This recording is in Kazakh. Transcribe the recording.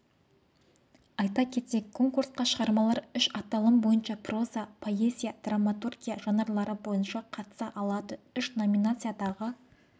айта кетейік конкурсқа шығармалар үш аталым бойынша проза поэзия драматургия жанырлары бойынша қатыса алады үш номинациядағы